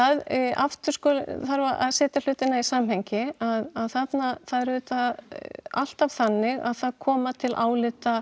aftur þarf að setja hlutina í samhengi að það er auðvitað alltaf þannig að það koma til álita